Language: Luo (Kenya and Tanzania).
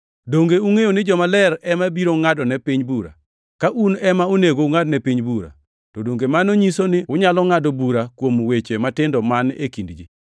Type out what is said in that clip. Donge ungʼeyo ni jomaler ema biro ngʼadone piny bura? Ka un ema onego ungʼadne piny bura, to donge mano nyiso ni unyalo ngʼado bura kuom weche matindo man e kind ji?